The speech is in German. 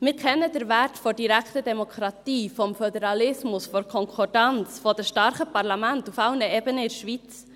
Wir kennen den Wert der direkten Demokratie, des Föderalismus, der Konkordanz, der starken Parlamente auf allen Ebenen in der Schweiz.